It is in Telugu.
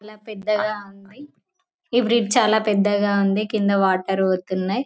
పెద్దగా ఉంది ఈ బ్రిడ్జి చాలా పెద్దగా ఉంది కింద వాటర్ పోతున్నాయి.